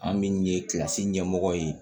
An min ye kilasi ɲɛmɔgɔ ye